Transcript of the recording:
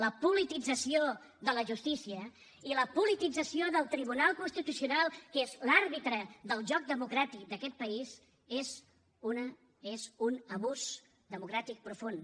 la politització de la justícia i la politització del tribunal constitucional que és l’àrbitre del joc democràtic d’aquest país és un abús democràtic profund